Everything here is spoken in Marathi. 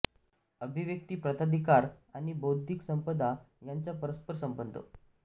अभिव्यक्ती प्रताधिकार आणि बौद्धिक संपदा यांचा परस्पर संबंध